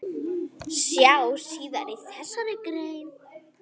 Sjá síðar í þessari grein.